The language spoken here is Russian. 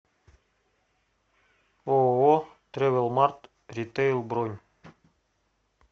ооо трэвелмарт ритейл бронь